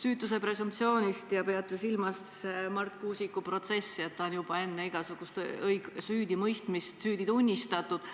Te peate silmas Marti Kuusiku protsessi, ta on juba enne igasugust süüdimõistmist nagu süüdi tunnistatud.